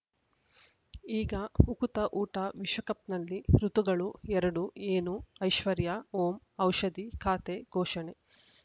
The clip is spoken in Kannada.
ಈಗ ಉಕುತ ಊಟ ವಿಶ್ವಕಪ್‌ನಲ್ಲಿ ಋತುಗಳು ಎರಡು ಏನು ಐಶ್ವರ್ಯಾ ಓಂ ಔಷಧಿ ಖಾತೆ ಘೋಷಣೆ